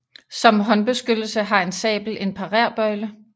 Som håndbeskyttelse har en sabel en parerbøjle